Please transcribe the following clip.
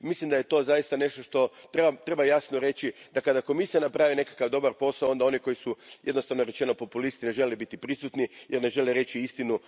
Mislim da je to zaista nešto što treba jasno reći, da kada Komisija napravi nekakav dobar posao, onda oni koji su, jednostavno rečeno, populisti ne žele biti prisutni jer ne žele reći istinu.